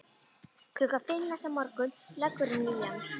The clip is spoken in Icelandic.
Klukkan fimm næsta morgun leggur hún í hann.